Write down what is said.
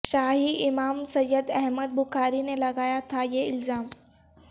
شاہی امام سیدا حمد بخاری نے لگایا تھا یہ الزام